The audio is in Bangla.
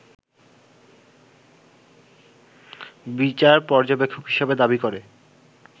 বিচার পর্যবেক্ষক হিসাবে দাবি করে